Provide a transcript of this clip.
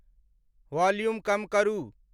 Volume कम करू।